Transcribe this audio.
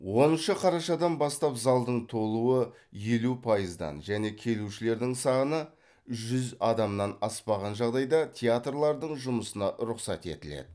оныншы қарашадан бастап залдың толуы елу пайыздан және келушілердің саны жүз адамнан аспаған жағдайда театрлардың жұмысына рұқсат етіледі